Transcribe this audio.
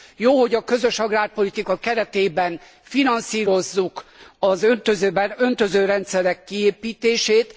Jó, hogy a közös agrárpolitika keretében finanszírozzuk az öntözőrendszerek kiépítését.